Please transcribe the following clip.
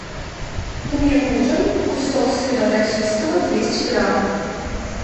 мне нужен кусок сыра российского двести грамм